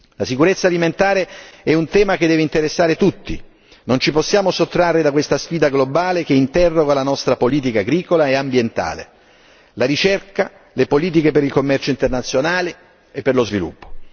La sicurezza alimentare è un tema che deve interessare tutti, non ci possiamo sottrarre a questa sfida globale che interroga la nostra politica agricola e ambientale, la ricerca, le politiche per il commercio internazionale e per lo sviluppo.